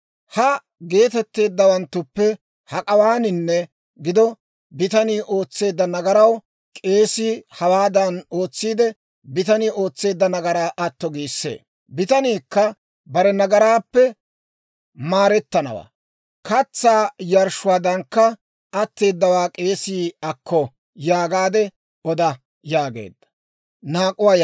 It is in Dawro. Ha geetetteeddawanttuppe hak'awaaninne gido bitanii ootseedda nagaraw k'eesii hawaadan ootsiide, bitanii ootseedda nagaraa atto giissee; bitaniikka bare nagaraappe maarettanawaa. Katsaa yarshshuwaadankka atteedawaa k'eesii akko yaagaade oda› » yaageedda.